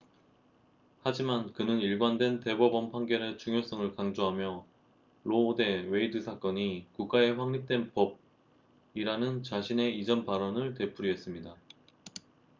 "하지만 그는 일관된 대법원 판결의 중요성을 강조하며 로 대 웨이드 사건이 "국가의 확립된 법""이라는 자신의 이전 발언을 되풀이했습니다.